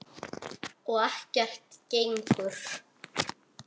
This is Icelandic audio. Og ekkert gengur.